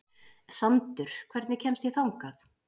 Sandur, hvernig kemst ég þangað?